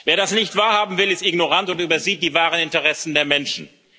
Wer das nicht wahrhaben will, ist ignorant und übersieht die wahren Interessen der Menschen.